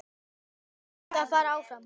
Hildur átti að fara áfram!